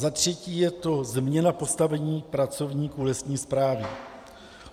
Za třetí je to změna postavení pracovníků lesní správy.